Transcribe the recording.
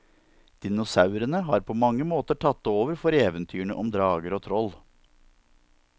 Dinosaurene har på mange måter tatt over for eventyrene om drager og troll.